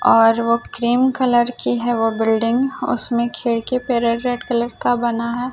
और वो cream colour की है वो बिल्डिंग उसमें खिड़की पे रेड रेड कलर का बना है।